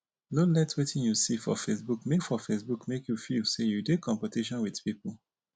no let wetin you see for facebook make for facebook make you feel say you dey competition with pipu.